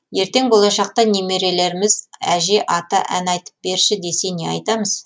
ертен болашақта немерелеріміз әже ата ән айтып берші десе не айтамыз